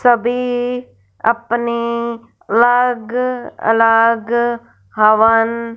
सभी अपनी लग अलग हवन--